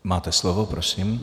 Máte slovo, prosím.